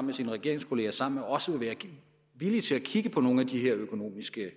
med sine regeringskolleger og sammen med os vil være villig til at kigge på nogle af de her økonomiske